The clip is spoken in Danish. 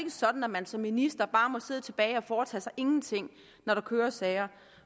sådan at man som minister bare må sidde tilbage og foretage sig ingenting når der kører sager